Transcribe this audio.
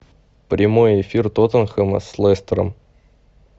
прямой эфир тоттенхэма с лестером